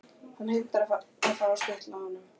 Hann heimtar að fá að skutla honum.